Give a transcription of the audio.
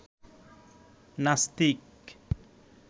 নাস্তিক